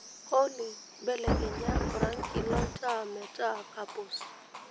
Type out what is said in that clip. olly belekenya orangi lontaa metaa kapuz